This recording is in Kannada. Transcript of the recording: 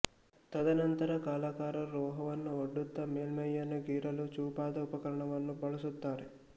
ತದನಂತರ ಕಲಾಕಾರರು ಲೋಹವನ್ನು ಒಡ್ಡುತ್ತಾ ಮೇಲ್ಮೈಯನ್ನು ಗೀರಲು ಚೂಪಾದ ಉಪಕರಣವನ್ನು ಬಳಸುತ್ತಾರೆ